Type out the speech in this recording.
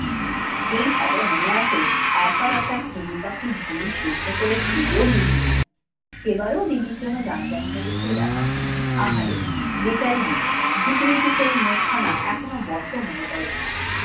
সেই সাজা মনে আছে? একবার একটা ঘুঘু পাখির ডিম সিদ্ধ করে খেতেও গিয়েছিল তনু। সেবারও দিদির জন্যে জানাজানি হয়ে গিয়েছিল ব্যাপারটা। আহারে বেচারি দিদি! ভীতু ভীতু সেই মুখখানা এখনো বড্ড মনে পড়ে তনুর।